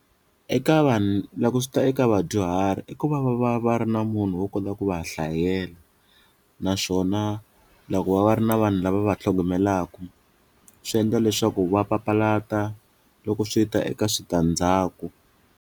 Eka vanhu loko swi ta eka vadyuhari i ku va va va va ri na munhu wo kota ku va hi hlayela naswona loko va va ri na vanhu lava va tlhogomelaku swi endla leswaku va papalata loko swi ta eka switandzhaku.